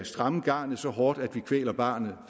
stramme garnet så hårdt at vi kvæler barnet